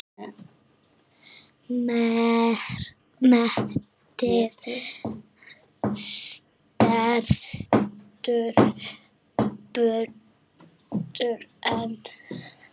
Metið stendur enn.